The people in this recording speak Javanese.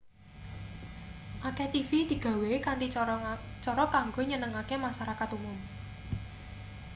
akeh tv digawe kanthi cara kanggo nyenengake masarakat umum